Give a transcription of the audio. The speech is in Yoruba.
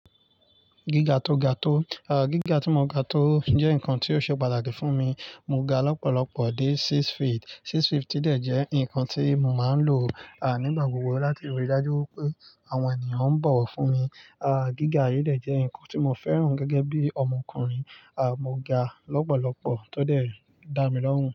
Gíga tó ga tó, gíga tí mo ga tó jẹ́ nǹkan tí ó ṣe pàtàkì fún mi. Mo ga lọ́pọ̀lọpọ̀ dé six feet. Six feet i dẹ̀ jẹ́ ǹnkan tí mo máa ń lò nígbà gbogbo láti rí i dájú wipé àwọn ènìyàn ń bọ̀ wọ̀ fún mi. Gíga yìí dẹ̀ jẹ́ ǹnkan tí mo fẹ́ràn gẹ́gẹ́ bí ọmọkùnrin. Mo ga lọ́pọ̀lọpọ̀ tó dẹ̀ dá mi lọ́hùn.